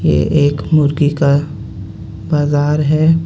ये एक मुर्गी का बाजार हे.